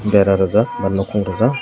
dera reejak ba nukung reejak.